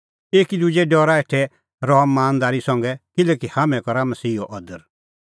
एकी दुजे डरा हेठै रहअ मानदारी संघै किल्हैकि हाम्हैं करा मसीहो अदर